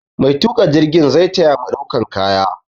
Maituƙa jirgin zai ta ya mu ɗaukan kaya.